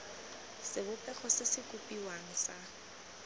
sebopego se se kopiwang sa